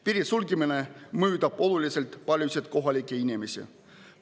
Piiri sulgemine mõjutab oluliselt paljusid kohalikke inimesi.